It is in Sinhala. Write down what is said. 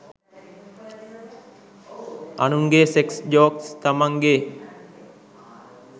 අනුන්ගෙ සෙක්ස් ජෝක්ස් තමන්ගෙ